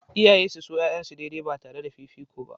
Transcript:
Iyaye su so 'ya'yansu daidai ba tare da fifiko ba.